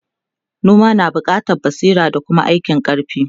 noma na buƙatan basira da Kuma aikin karfi